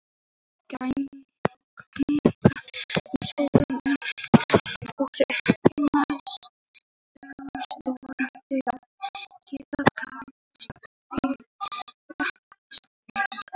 Þau ganga um sólina en eru ekki nægilega stór til að geta talist til reikistjarna.